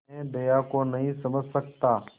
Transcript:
मैं दया को नहीं समझ सकता